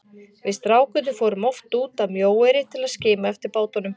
Við strákarnir fórum oft út að Mjóeyri til að skima eftir bátunum.